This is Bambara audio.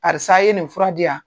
Karisa ye nin fura diya